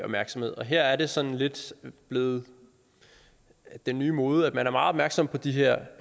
opmærksomhed og her er det sådan lidt blevet den nye mode at man er meget opmærksom på de her